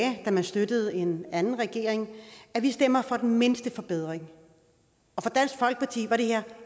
da man støttede en anden regering at vi stemmer for den mindste forbedring og for dansk folkeparti var det her